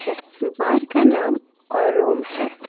बार का नाम और अरुम है।